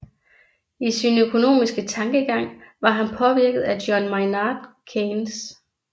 I sin økonomiske tankegang var han påvirket af John Maynard Keynes